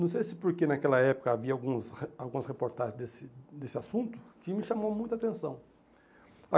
Não sei se porque naquela época havia alguns re algumas reportagens desse desse assunto, que me chamou muita atenção.